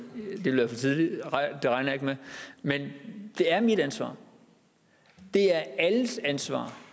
ville være for tidligt men det er mit ansvar det er alles ansvar